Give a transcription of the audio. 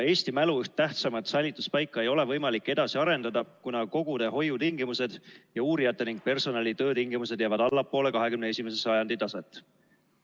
Eesti mälu üht tähtsamat säilituspaika ei ole võimalik edasi arendada, kuna kogude hoiutingimused ning uurijate ja personali töötingimused jäävad allapoole 21. sajandi taset.